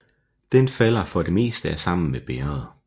Den falder for det meste af sammen med bægeret